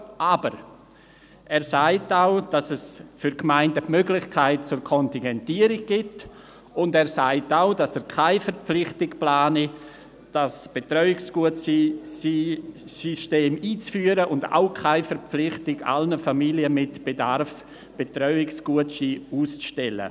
Aber: Er sagt auch, dass es für die Gemeinden die Möglichkeit der Kontingentierung gibt und dass er keine Verpflichtung plane, das Betreuungsgutscheinsystem einzuführen, und ebenso keine Verpflichtung, allen Familien mit Bedarf Betreuungsgutscheine auszustellen.